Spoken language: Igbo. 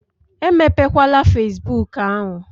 Emepe kwala fesbụụk ahụ!